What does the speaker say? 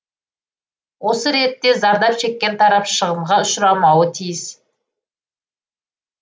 осы ретте зардап шеккен тарап шығынға ұшырамауы тиіс